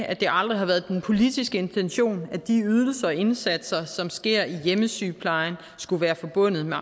at det aldrig har været den politiske intention at de ydelser og indsatser som sker i hjemmesygeplejen skulle være forbundet med